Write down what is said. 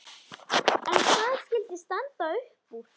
En hvað skyldi standa uppúr?